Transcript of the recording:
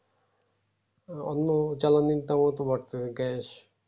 অন্য জ্বালানির দামও তো বাড়তেসে gas